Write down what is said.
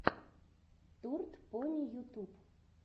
турд пони ютюб